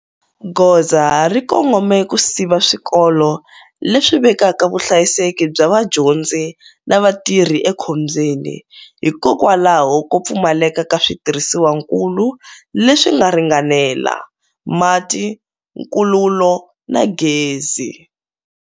Goza ri kongome ku siva swikolo leswi vekaka vuhlayiseki bya vadyondzi na vatirhi ekhombyeni, hikokwalaho ko pfumaleka ka switirhisiwankulu leswi nga ringanela, mati, nkululo na gezi.